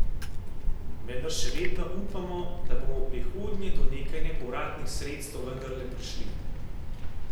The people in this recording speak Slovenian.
Vendar še vedno upamo, da bomo v prihodnje do nekaj nepovratnih sredstev vendarle prišli.